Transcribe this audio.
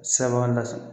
Sɛbɛn na